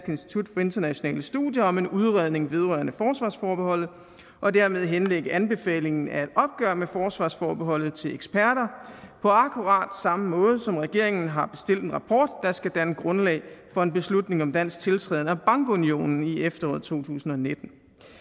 institut for internationale studier om en udredning vedrørende forsvarsforbeholdet og dermed henlægge anbefalingen af et opgør med forsvarsforbeholdet til eksperter på akkurat samme måde som regeringen har bestilt en rapport der skal danne grundlag for en beslutning om dansk tiltræden af bankunionen i efteråret to tusind og nitten